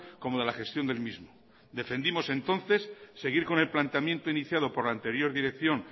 como de la gestión del mismo defendimos entonces seguir con el planteamiento iniciado por la anterior dirección